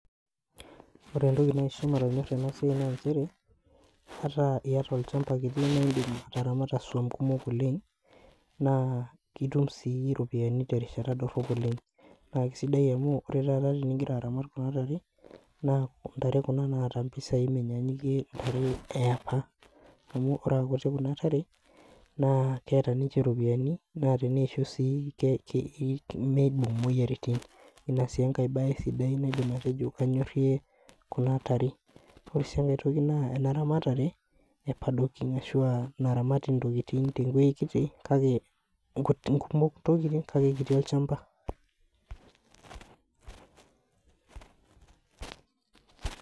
Ore entoki nanyor enasia na nchere qta iyata olchamba kiti nidim ataramata swan kumok oleng na kitum si ropiyani terishata kiti oleng amuore taata pingira aramat kuna tare na ntare kuna naata mpisai menyanyikie neapa amu ore aakuti kuna kare keeta ninche ropiyiani na teneisho na mibung moyiaritin na inasi enkae bae naidim atejo kanyorie kuna tare ore si enkae toki na eramatare apadokin ashu a naramati ntokitin te wueji ntokitin kumok kake kiti olchamba.